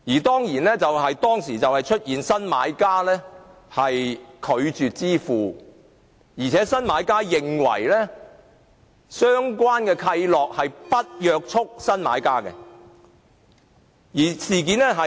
當時出現了新買家拒絕支付的情況，而新買家亦認為相關契諾並不約束新買家。